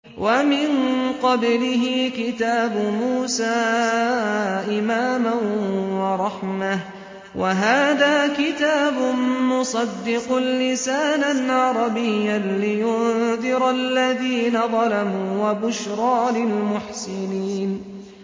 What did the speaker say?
وَمِن قَبْلِهِ كِتَابُ مُوسَىٰ إِمَامًا وَرَحْمَةً ۚ وَهَٰذَا كِتَابٌ مُّصَدِّقٌ لِّسَانًا عَرَبِيًّا لِّيُنذِرَ الَّذِينَ ظَلَمُوا وَبُشْرَىٰ لِلْمُحْسِنِينَ